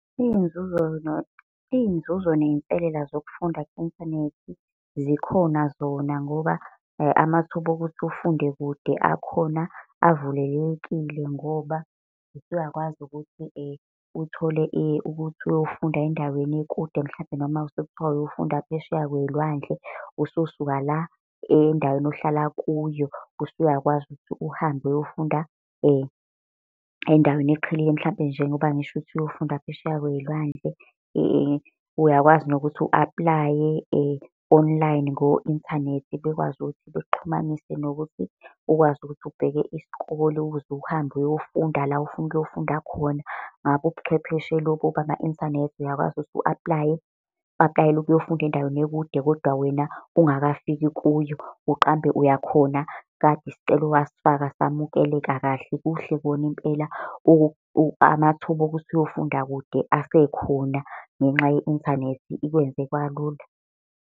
Iy'nzuzo iy'nzuzo ney'nselela zokufunda ku-inthanethi zikhona zona. Ngoba amathuba okuthi ufunde kude akhona avulelekile ngoba usuyakwazi ukuthi uthole ukuthi uyofunda endaweni ekude, mhlampe noma sekuthiwa uyofunda phesheya kwey'lwandle, ususuka la endaweni ohlala kuyo. Usuyakwazi ukuthi uhambe uyofunda endaweni eqhelile, mhlampe njengoba ngisho ukuthi uyofunda phesheya kwey'lwandle uyakwazi nokuthi u-aplaye online ngo inthanethi bekwazi ukuthi bekuxhumanisa nokuthi ukwazi ukuthi ubheke isikole ukuze uhambe uyofunda la ofuna ukuyofunda khona. Ngakho ubuchwepheshe lobu bama inthanethi uyakwazi ukuthi u-aplaye, u-aplayele ukuyofunda endaweni ekude, kodwa wena ungakafiki kuyo, uqambe uyakhona kade isicelo wasifaka samukeleka kahle. Kuhle kona impela amathuba okuthi uyofunda kude, asekhona ngenxa ye-inthanethi ikwenze kwalula.